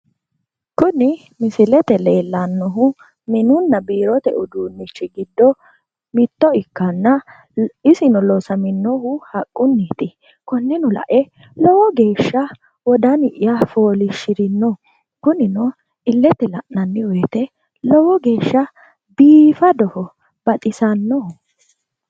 Kuni misilete leellannohu mininna biirote uduunnichi giddo mitto ikkanna isino loosaminohu haqqunniiti konneno la'e lowo geesha wodani'ya fooliishirino kunino illete la'nanni woyite lowo geesha biifadoho baxisannoho